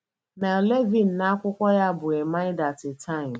Mel Levine na akwụkwọ ya bụ A mind at a time.